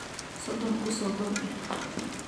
Sodon kusogordix.